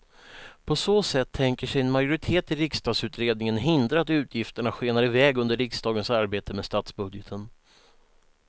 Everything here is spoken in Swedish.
På så sätt tänker sig en majoritet i riksdagsutredningen hindra att utgifterna skenar iväg under riksdagens arbete med statsbudgeten.